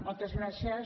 moltes gràcies